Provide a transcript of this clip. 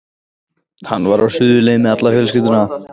Hann var á suðurleið með alla fjölskylduna.